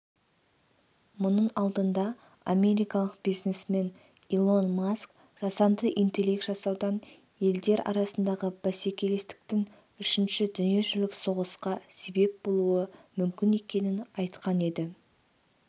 мұның алдында америкалық бизнесмен илон маск жасанды интелект жасаудан елдер арасындағы бәсекелестіктің үшінші дүниежүзілік соғысқа себеп болуы мүмкін екенін айтқан еді